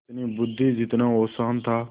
जितनी बुद्वि जितना औसान था